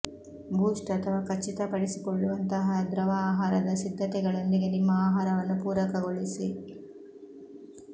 ಬೂಸ್ಟ್ ಅಥವಾ ಖಚಿತಪಡಿಸಿಕೊಳ್ಳುವಂತಹ ದ್ರವ ಆಹಾರದ ಸಿದ್ಧತೆಗಳೊಂದಿಗೆ ನಿಮ್ಮ ಆಹಾರವನ್ನು ಪೂರಕಗೊಳಿಸಿ